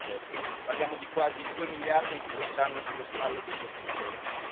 2017. Parliamo di quasi due miliardi, anche quest'anno, sulle spalle dei contribuenti.